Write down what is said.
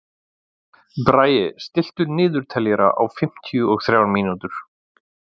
Bragi, stilltu niðurteljara á fimmtíu og þrjár mínútur.